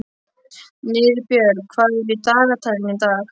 Niðbjörg, hvað er í dagatalinu í dag?